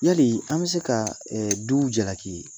Yali an bɛ se ka ɛ du jalaki